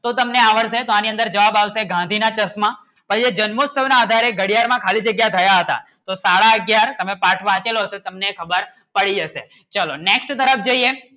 તો તમને આવડશે શા ની અંદર જવાબ આવશે ગાંધી ના ચશ્મા ક્યોં જન્મોસ્થવ ના આધારે ઘડિયાર માં ખાલી જગ્યા થયા હતા તો સાડા અગ્યાર તમે પાઠ વાંચેલા હતો તો તમને ખબર પડી જશે ચલો Next તરફ જઇયે.